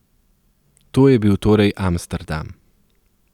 To je bil torej Amsterdam.